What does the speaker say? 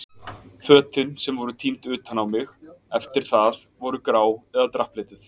Fötin sem voru tínd utan á mig eftir það voru grá eða drapplituð.